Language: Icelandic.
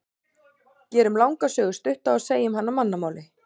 Gerum langa sögu stutta og segjum hana á mannamáli.